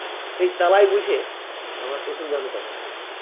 এই চালায় বইসে আমরা টুসু গান করছি